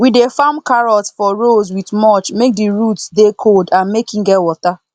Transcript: we dey farm carrot for rows with mulch make the roots dey cold and make e get water